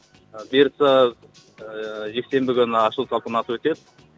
бұйырса ыыы жексенбі күні ашылу салтанаты өтеді